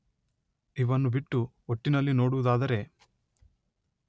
ಇವನ್ನು ಬಿಟ್ಟು ಒಟ್ಟಿನಲ್ಲಿ ನೋಡುವುದಾದರೆ